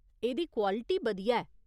एह्दी क्वालिटी बधिया ऐ।